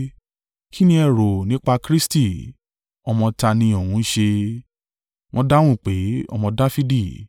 “Kí ni ẹ rò nípa Kristi? Ọmọ ta ni òun ń ṣe?” Wọ́n dáhùn pé, “Ọmọ Dafidi.”